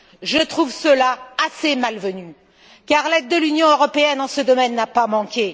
Je trouve cela assez malvenu car l'aide de l'Union européenne en ce domaine n'a pas manqué.